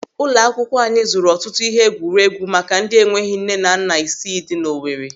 Ụlọ akwụkwọ anyị zụrụ ọtụtụ ihe egwuregwu maka ndị enweghị nne na nna isii dị n'Owere.